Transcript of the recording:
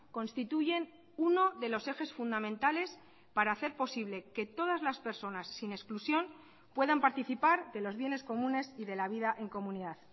constituyen uno de los ejes fundamentales para hacer posible que todas las personas sin exclusión puedan participar de los bienes comunes y de la vida en comunidad